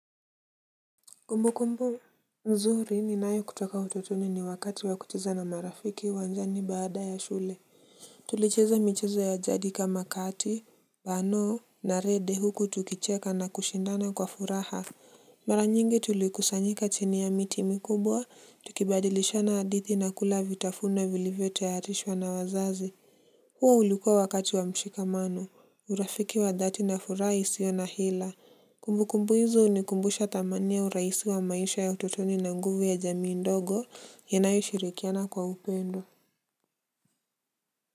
Kumbukumbu nzuri ninayo kutoka utotoni ni wakati wa kucheza na marafiki uwanjani baada ya shule. Tulicheza michezo ya jadi kama kati Bano na rede huku tukicheka na kushindana kwa furaha. Mara nyingi tulikusanyika chini ya miti mikubwa tukibadilishana hadithi na kula vitafunwa vilivyotayarishwa na wazazi. Huo ulikuwa wakati wa mshikamano. Urafiki wa dhati na furaha isio na hila. Kumbukumbu hizo hunikumbusha thamani ya urahisi wa maisha ya utotoni na nguvu ya jamii ndogo inayoshirikiana kwa upendo.